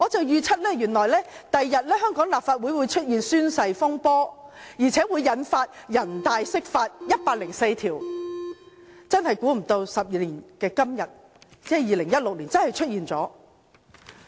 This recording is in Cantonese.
原來我預測香港立法會日後會出現宣誓風波，並引發人大就《基本法》第一百零四條釋法，真的估不到12年後的今天，即2016年真的出現了。